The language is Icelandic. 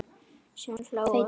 Síðan hlógu þeir báðir.